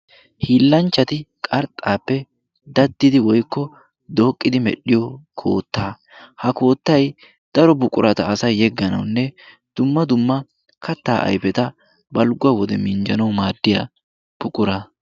hiillanchchati qarxxaappe daddidi woikko dooqqidi medhdhiyo kootta ha koottai daro buqurata asai yegganaunne dumma dumma kattaa aifeta balgguwa wode minjjanau maaddiya buqura